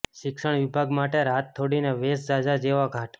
શિક્ષણ વિભાગ માટે રાત થોડી ને વેશ ઝાઝા જેવો ઘાટ